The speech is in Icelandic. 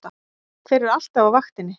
Þeir eru alltaf á vaktinni!